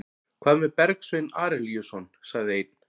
Hvað með Bergsvein Arilíusson, sagði einn?